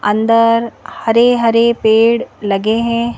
अंदर हरे-हरे पेड़ लगे हैं।